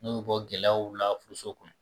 N'u bɛ bɔ gɛlɛyaw la furuso kɔnɔ